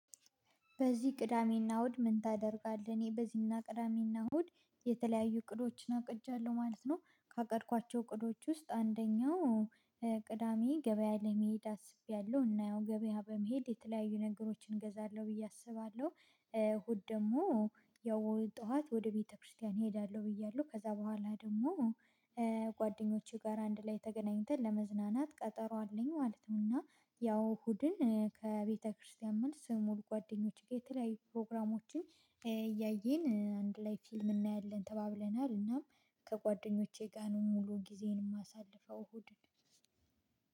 በዚህ ቅዳሜና እሁድ ምን ታደርጋለህ? እኔ በዚኛው ቅዳሜና እሁድ የተለያዩ እቅዶችን አቅጃለሁ ማለት ነው። ካቀድኳቸው እቅዶች ውስጥ አንደኛው ቅዳሜ ገበያ ለመሄድ አስቤያለሁ እና ያው ገበያ በመሄድ የተለያዩ ነገሮችን እገዛለሁ ብዬ አስባለሁ። እሁድ ደግሞ ያው እሁድ ጠዋት ወደ ቤተክርስቲያን እሄዳለሁ ብያለሁ ከዛ በኋላ ደግሞ ጓደኞቼ ጋር አንድ ላይ ተገናኝተን ለመዝናናት ቀጠሮ አለኝ ማለት ነው። እና ያው እሁድን ከቤተክርስቲያን መልስ ሙሉ ጓደኞች ጋር የተለያዩ ፕሮግራሞችን እያየን አንድ ላይ ፊልም እናያለን ተባብለናል እናም ከጓደኞቼ ጋር ነው ሙሉ ጊዜን የማሳልፈው እሁድን።